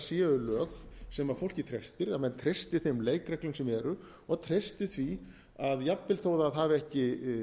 séu lög sem fólkið þekkir treystir þeim leikreglum sem eru og treysti því að jafnvel þó það hafi ekki